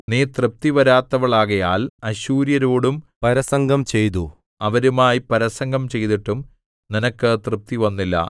നീ തൃപ്തി വരാത്തവളാകയാൽ അശ്ശൂര്യരോടും പരസംഗം ചെയ്തു അവരുമായി പരസംഗം ചെയ്തിട്ടും നിനക്ക് തൃപ്തി വന്നില്ല